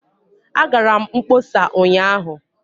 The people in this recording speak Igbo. Agara m mkpọsa ụnyaahụ